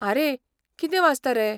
आरे, कितें वाचता रे?